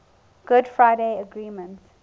good friday agreement